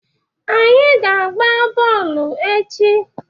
Anyị ga-agba bọọlụ echi.